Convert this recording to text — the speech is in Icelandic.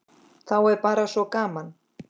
Þá er bara svo gaman.